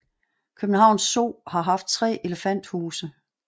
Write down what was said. København Zoo har haft tre elefanthuse